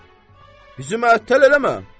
Bizi əttəl eləmə.